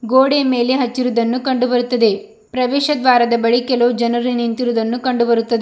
ಗೋಡೆಯ ಮೇಲೆ ಹಚ್ಚಿರುವುದನ್ನು ಕಂಡುಬರುತ್ತದೆ ಪ್ರವೇಶ ದ್ವಾರದ ಬಳಿ ಕೆಲವು ಜನರು ನಿಂತಿರುವುದನ್ನು ಕಂಡುಬರುತ್ತದೆ.